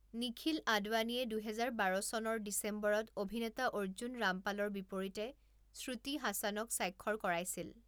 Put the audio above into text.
নিখিল আদৱানীয়ে দুহেজাৰ বাৰ চনৰ ডিচেম্বৰত অভিনেতা অৰ্জুন ৰামপালৰ বিপৰীতে শ্ৰুতি হাছানক স্বাক্ষৰ কৰাইছিল।